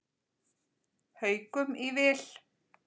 Haukum í vil.